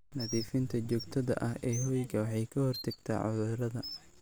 Nadiifinta joogtada ah ee hoyga waxay ka hortagtaa cudurrada.